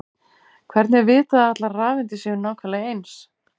hvernig er vitað að allar rafeindir séu nákvæmlega eins